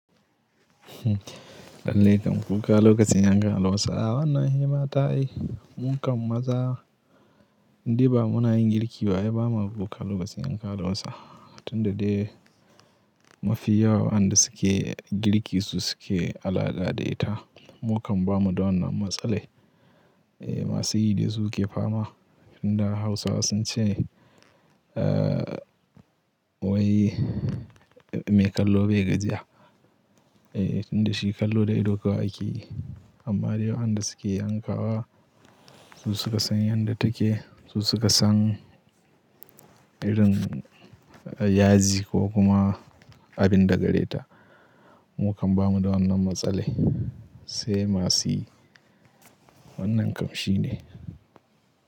Lallai kam kuka lokacin yankawa Hausawa na yi mata. Mun kam maza, indai ba muna yin girki ba ai ba ma kuka lokacin yankan albasa tunda dai mafi yawa wanda suke girki su suke al'ada da ita. Mun kam ba mu da wannan matsale. Eh masu yi da su ke fama tunda Hausawa sun ce, ahh wai mai kallo bai gajiya. Eh tunda shi kallo da ido kawai akeyi. Amma dai wa enda suke yankawa su suka san yadda take, su suka san irin yaji ko kuma abin da gare ta. Mun kam ba mu da wannan matsali. Sai masuyi wannan kam shi ne.